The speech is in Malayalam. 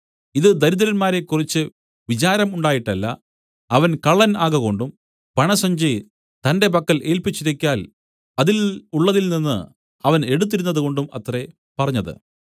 ഇതു ദരിദ്രന്മാരെക്കുറിച്ച് വിചാരം ഉണ്ടായിട്ടല്ല അവൻ കള്ളൻ ആകകൊണ്ടും പണസഞ്ചി തന്റെ പക്കൽ ഏൽപ്പിച്ചിരിക്കയാൽ അതിൽ ഉള്ളതിൽനിന്ന് അവൻ എടുത്തിരുന്നതുകൊണ്ടും അത്രേ പറഞ്ഞത്